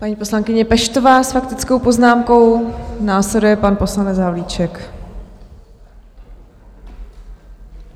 Paní poslankyně Peštová s faktickou poznámkou, následuje pan poslanec Havlíček.